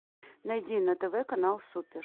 найди на тв канал супер